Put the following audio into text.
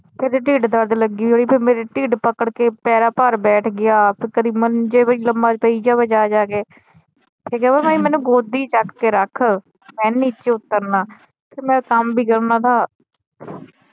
ਫਿਰ ਏਦੀ ਟਿਡ ਦਰਦ ਲੱਗੀ ਹੋਈ ਫਿਰ ਮੇਰੀ ਟਿਡ ਪਕੜ ਕੇ ਪੈਰਾਂ ਭਾਰ ਬੈਠ ਗਿਆ ਕਦੀ ਮੰਜੇ ਤੇ ਲੰਮਾ ਪਈ ਜਾਏ ਜਾ ਜਾ ਕੇ ਫਿਰ ਕਵੇ ਵੀ ਮੈਨੂੰ ਗੋਦੀ ਚੱਕ ਕੇ ਰੱਖ ਮੈ ਨਹੀਂ ਨੀਚੇ ਉਤਰਨਾ ਤੇ ਮੈ ਕੰਮ ਬੀ ਕਰਨਾ ਥਾ